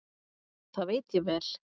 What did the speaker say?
Það veit ég vel.